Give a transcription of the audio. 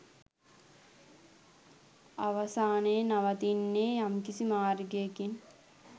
අවසානයේ නවතින්නේ යම්කිසි මාර්ගයකින්